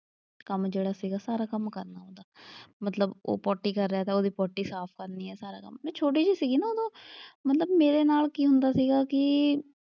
ਕੰਮ ਜਿਹੜਾ ਸੀਗਾ ਸਾਰਾ ਕੰਮ ਕਰਨਾ ਉਹਦਾ। ਮਤਲਬ ਉਹ ਪੌਟੀ ਕਰ ਰਿਹਾ ਤਾਂ ਉਹਦੀ ਪੌਟੀ ਸਾਫ਼ ਕਰਨੀ ਆ ਸਾਰਾ ਕੰਮ। ਮੈਂ ਛੋਟੀ ਜਿਹੀ ਸੀਗੀ ਨਾ ਉਦੋਂ, ਮਤਲਬ ਮੇਰੇ ਨਾਲ ਕੀ ਹੁੰਦਾ ਸੀਗਾ ਕਿ,